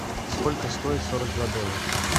сколько стоит сорок два доллара